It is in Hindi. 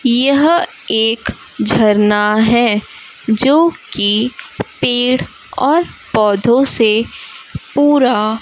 यह एक झरना है जो कि पेड़ और पौधों से पूरा--